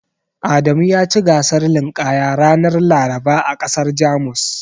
Adamu yaci gasar linƙaya ranar Laraba a ƙasar Jamus.